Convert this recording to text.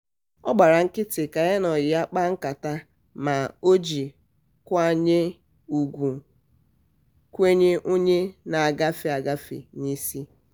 ọ gbara nkịtị ka ya na ọyị ya kpaa nkata ma ọ ji nkwanye ugwu kwenye onye na-agafe agafe n'isi